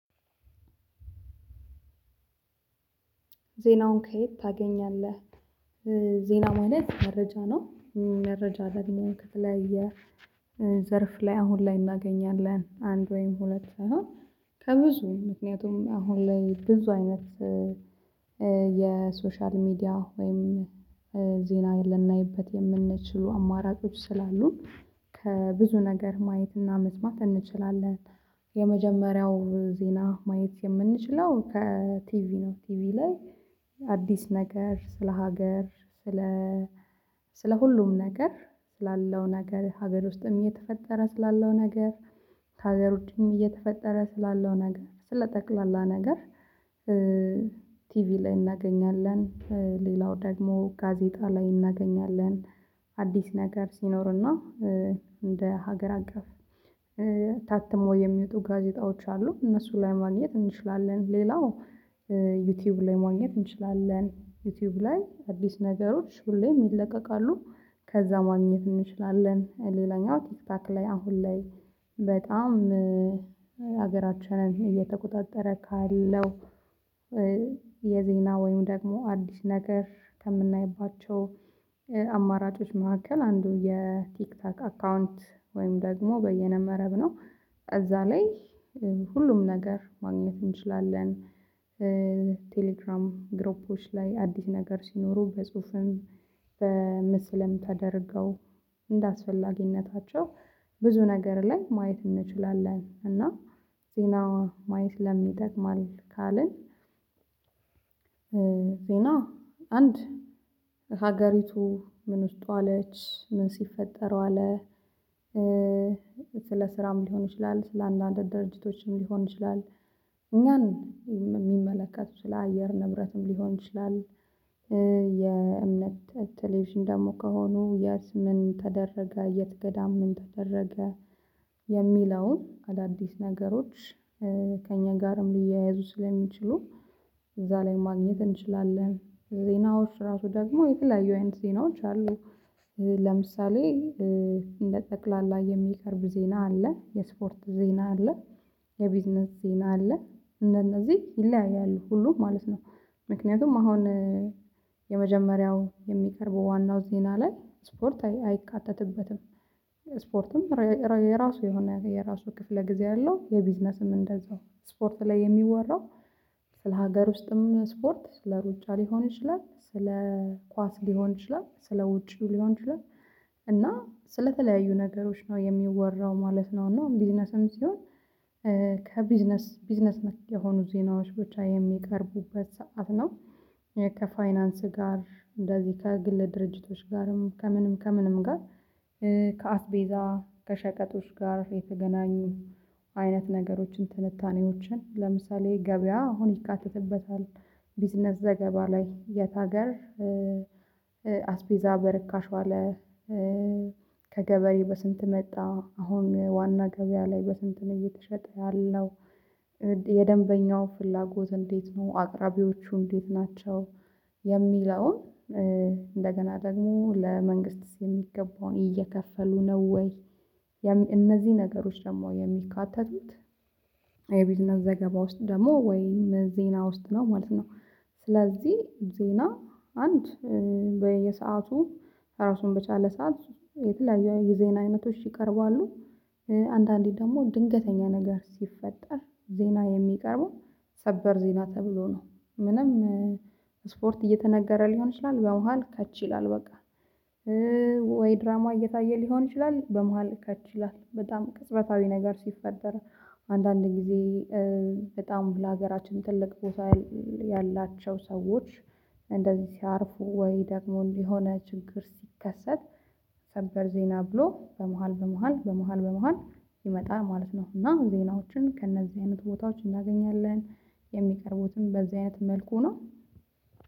ዜናውን ከየት ታገኛለህ? ዜና ማለት መረጃ ነው። መረጃ ደግሞ ከተለየ ዘርፍ ላይ አሁን ላይ እናገኛለን። አንድ ወይም ሁለት አሁን ከብዙ ምክንያቱም አሁን ላይ ብዙ አይነት የሶሻል ሚዲያ ወይም ዜና ልናይበት የምንችሉ አማራጮች ስላሉ ከብዙ ነገር ማየትና መስማት እንችላለን። የመጀመሪያው ዜና ማየት የምንችለው ከቲቪ ነው። ቲቪ ላይ አዲስ ነገር ስለ ሀገር ስለ ስለ ሁሉም ነገር ስላለው ነገር ሀገር ውስጥም እየተፈጠረ ስላለው ነገር ከሀገር ዉጪም እየተፈጠረ ስላለው ነገር ስለ ጠቅላላ ነገር። ቲቪ ላይ እናገኛለን። ሌላው ደግሞ ጋዜጣ ላይ እናገኛለን። አዲስ ነገር ሲኖር እና እንደ ሀገር አቀፍ ታትሞ የሚወጡ ጋዜጣዎች አሉ እነሱ ላይ ማግኘት እንችላለን። ሌላው ዩቲዩብ ላይ ማግኘት እንችላለን ዩቲዩብ ላይ አዲስ ነገሮች ሁሌም ይለቀቃሉ። ከዛ ማግኘት እንችላለን። ሌላኛው ቲክታክ ላይ አሁን ላይ በጣም ሀገራችንን እየተቆጣጠረ ካለው የዜና ወይም ደግሞ አዲስ ነገር ከምናይባቸው አማራጮች መካከል አንዱ የቲክታክ አካውንት ወይም ደግሞ በየነበረብ ነው። እዛ ላይ ሁሉም ነገር ማግኘት እንችላለን። ቴሌግራም ግሮፖች ላይ አዲስ ነገር ሲኖሩ በጽሁፍም በምስልም ተደርገው እንደአስፈላጊነታቸው ብዙ ነገር ላይ ማየት እንችላለን። እና ዜና ማየት ለምን ይጠቅማል? ካልን ዜና አንድ ሀገሪቱ ምን ውስጥ ዋለች ምን ሲፈጠረው አለ። ስለ ስራም ሊሆን ይችላል ስለ አንዳንድ ድርጅቶችም ሊሆን ይችላል። እኛን የሚመለከቱ ስለ አየር ንብረትም ሊሆን ይችላል። የእምነት ቴሌቪዥን ደግሞ ከሆኑ የት ምን ተደረገ የት ገዳም ምን ተደረገ። የሚለውን አዳዲስ ነገሮች ከእኛ ጋርም ሊያያዙ ስለሚችሉ እዛ ላይ ማግኘት እንችላለን። ዜናዎች ራሱ ደግሞ የተለያዩ አይነት ዜናዎች አሉ። ለምሳሌ እንደ ጠቅላላ የሚቀርብ ዜና አለ የስፖርት ዜና አለ። የቢዝነስ ዜና አለ እንደነዚህ ይለያያሉ ሁሉ ማለት ነው። ምክንያቱም አሁን የመጀመሪያው የሚቀርበው ዋናው ዜና ላይ ስፖርት አይካተትበትም። ስፖርትም የራሱ የሆነ የራሱ ክፍለ ጊዜ አለው። የቢዝነስም እንደዛው ስፖርት ላይ የሚወራው ለሀገር ውስጥም ስፖርት ለስ ሩጫ ሊሆን ይችላል ስለ ኳስ ሊሆን ይችላል ስለ ውጪው ሊሆን ይችላል። እና ስለተለያዩ ነገሮች ነው የሚወራው ማለት ነው። እና ቢዝነስም ሲሆን ከቢዝነስ ቢዝነስ ነክ የሆኑ ዜናዎች ብቻ የሚቀርቡበት ሰዓት ነው። ከፋይናንስ ጋር እንደዚህ ከግለ ድርጅቶች ጋርም ከምንም ከምንም ጋር ከአስቤዛ ከሸቀጦች ጋር የተገናኙ አይነት ነገሮችን ትንታኔዎችን ለምሳሌ ገበያ አሁን ይካተትበታል። ቢዝነስ ዘገባ ላይ የት ሀገር አስቤዛ በርካሽ ዋለ። ከገበሬ በስንት መጣ አሁን ዋና ገበያ ላይ በስንት እየተሸጠ ያለው የደንበኛው ፍላጎት እንዴት ነው? አቅራቢዎቹ እንዴት ናቸው? የሚለውን እንደገና ደግሞ ለመንግስት የሚገባውን እየከፈሉ ነው ወይ? እነዚህ ነገሮች ደግሞ የሚካተቱት የቢልነስ ዘገባ ውስጥ ደግሞ ወይ ዜና ውስጥ ነው ማለት ነው። ስለዚህ ዜና አንድ በየሰአቱ ራሱን በቻለ ሰዓት የተለያዩ የዜና አይነቶች ይቀርባሉ። አንዳንዴ ደግሞ ድንገተኛ ነገር ሲፈጠር ዜና የሚቀርበው ሰበር ዜና ተብሎ ነው። ምንም ስፖርት እየተነገረ ሊሆን ይችላል በመሃል ከች ይላል በቃ። ወይ ድራማ እየታየ ሊሆን ይችላል በመሃል ከችይላል በጣም ቅጽበታዊ ነገር ሲፈጠር። አንዳንድ ጊዜ በጣም ለሀገራችን ትልቅ ቦታ ያላቸው ሰዎች እንደዚህ ሲያርፉ ወይ ደግሞ የሆነ ችግር ሲከሰት ሰበር ዜና ብሎ በመሃል በመሃል በመሃል በመሃል ይመጣል ማለት ነው። እና ዜናዎችን ከእነዚህ አይነት ቦታዎች እናገኛለን። የሚቀርቡትም በዚህ አይነት መልኩ ነው።